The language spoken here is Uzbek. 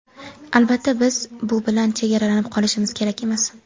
Albatta, biz bu bilan chegaralanib qolishimiz kerak emas.